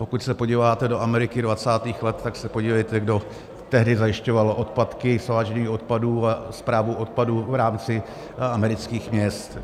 Pokud se podíváte do Ameriky 20. let, tak se podívejte, kdo tehdy zajišťoval odpadky, svážení odpadů a správu odpadů v rámci amerických měst.